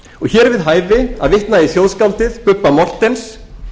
hér er við hæfi að vitna í þjóðskáldið bubba morthens